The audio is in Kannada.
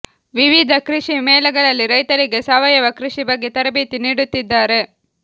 ವಿವಿಧ ಕೃಷಿ ಮೇಳಗಳಲ್ಲಿ ರೈತರಿಗೆ ಸಾವಯವ ಕೃಷಿ ಬಗ್ಗೆ ತರಬೇತಿ ನೀಡುತ್ತಿದ್ದಾರೆ